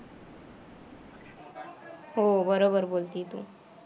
हो बरोबर बोलती तू.